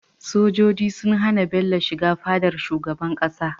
Sojoji sun hAna Bello shiga fadar shugaban ƙasa